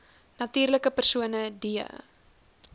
natuurlike persone d